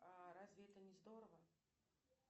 а разве это не здорово